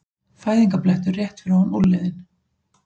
Fæðingarblettur rétt fyrir ofan úlnliðinn.